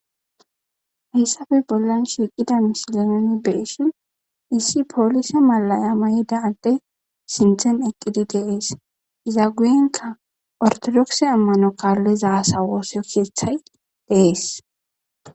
hayssape bollan shiiqida misile nuni beessi issi poolise malaya mayida ante sinthen eqqidi dees iza guyenka ortodokse ammano kaallizasa wooso keeththay dees.